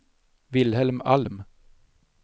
Wilhelm Alm